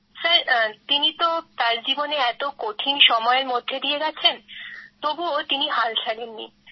sir তিনি তার জীবনে এতো কঠিন সময়ের মধ্যে দিয়ে গেছেন তবুও তিনি হাল ছাড়েননি